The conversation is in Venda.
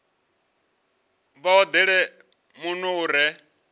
vha odele muno u re